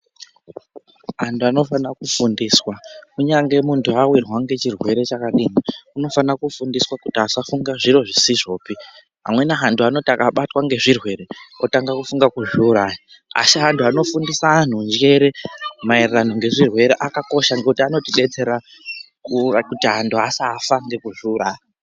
Antu anofane kufundiswa kunyange muntu avirwa ngechirwere chakadini unofana kufundindiswa kuti asafunge zviro zvisizvopi. Amweni antu anoti akabatwa ngezvirwere otange kufunga kuzviuraya. Asi antu anofundisa antu njere maererano ngezvirere akakosha ngekuti anotibetsera kuti antu asafa ngekuzviuraya.